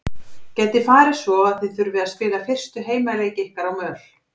Gæti farið svo að þið þurfið að spila fyrstu heimaleiki ykkar á möl?